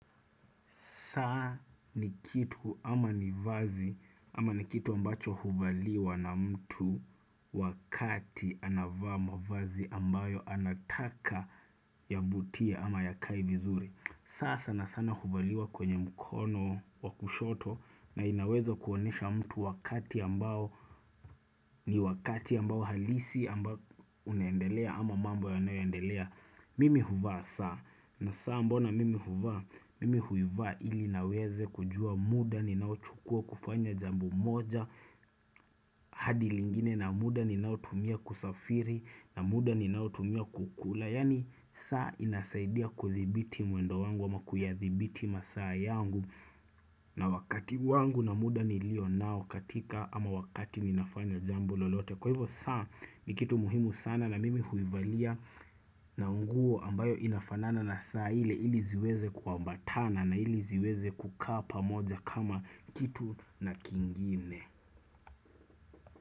Saa ni kitu ama ni vazi ama ni kitu ambacho huvaliwa na mtu wakati anavaa mavazi ambayo anataka yavutie ama yakae vizuri. Saa sana sana huvaliwa kwenye mkono wa kushoto na inaweza kuonesha mtu wakati ambayo ni wakati ambao halisi ambao unendelea ama mamba yayoendelea. Mimi huvaa saa na saa mbona mimi huvaa mimi huvaa ili niweze kujua muda ninao chukua kufanya jambo moja hadi lingine na muda ninao tumia kusafiri na muda ni nao tumia kukula Yaani saa inasaidia kudhibiti mwendo wangu ama kuyathibiti masaa yangu na wakati wangu na muda nilio nao katika ama wakati ninafanya jambo lolote Kwa hivyo saa ni kitu muhimu sana na mimi huivalia na nguo ambayo inafanana na saa ile ili ziweze kwambata na ili ziweze kukaa pamoja kama kitu na kingine.